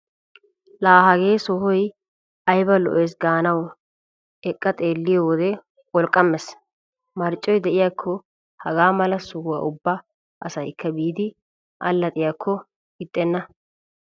Laa hagee sohoy ayba lo'eesi gaanawu eqqa xeelliyo wode pholqqammees. Marccoy de'iyakko hagaa mala sohuwa ubba asaykk biidi allaxxiyakko ixxenna.